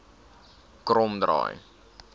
kromdraai